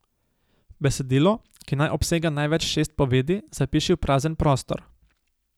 Besedilo, ki naj obsega največ šest povedi, zapiši v prazen prostor.